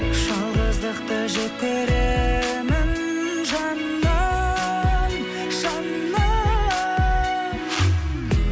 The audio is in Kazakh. жалғыздықты жек көремін жаным жаным